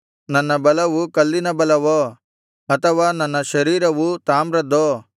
ನನ್ನ ಬಲವು ಕಲ್ಲಿನ ಬಲವೋ ಅಥವಾ ನನ್ನ ಶರೀರವು ತಾಮ್ರದ್ದೋ